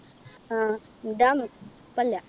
ആഹ് ഇണ്ടാന്നു ഇപ്പല്ല